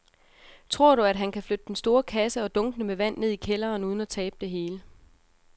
Tror du, at han kan flytte den store kasse og dunkene med vand ned i kælderen uden at tabe det hele?